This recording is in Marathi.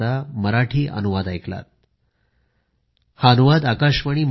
अनेक अनेक धन्यवाद